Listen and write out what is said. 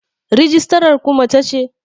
rijistarar ku mace ce?